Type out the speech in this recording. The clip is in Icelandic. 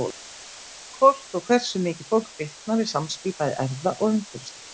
Hvort og hversu mikið fólk fitnar er samspil bæði erfða og umhverfisþátta.